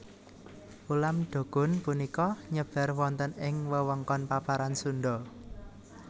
Ulam dokun punika nyebar wonten ing wewengkon paparan Sunda